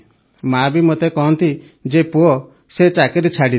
ମାଆ ବି ମୋତେ କହନ୍ତି ଯେ ପୁଅ ସେ ଚାକିରି ଛାଡ଼ିଦେ